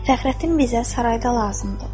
Fəxrəddin bizə sarayda lazımdır.